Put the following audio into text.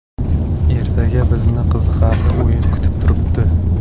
Ertaga bizni qiziqarli o‘yin kutib turibdi.